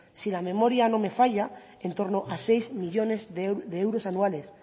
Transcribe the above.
si la memoria no me falla en torno a seis millónes de euros anuales